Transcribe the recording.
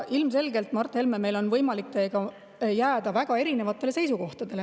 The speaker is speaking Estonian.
Ilmselgelt, Mart Helme, meil on võimalik teiega jääda väga erinevatele seisukohtadele.